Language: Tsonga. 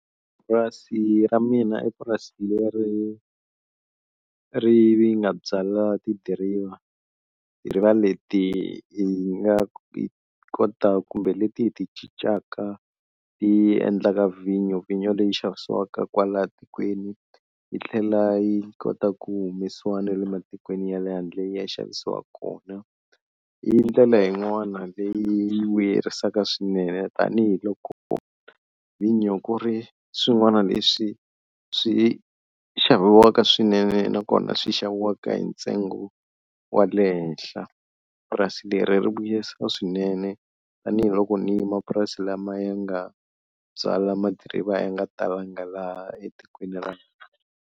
Purasi ra mina i purasini leri ri nga byala tidiriva, tidiriva leti hi nga kota kumbe leti hi ti cincaka ti endlaka vhinyo, vhinyo leyi xavisiwaka kwala tikweni yi tlhela yi kota ku humesiwa na le matikweni ya le handle ya xavisiwaka kona, i ndlela yin'wana leyi vuyerisaka swinene tanihiloko vhinyo ku ri swin'wana leswi swi xaviwaka swinene nakona swi xaviwaka hi ntsengo wa le henhla, purasi leri ri vuyisa swinene tanihiloko ni mapurasi lama ya nga byala ma-driver va ya nga talanga laha etikweni ra.